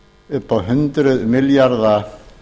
upp á hundruð milljarða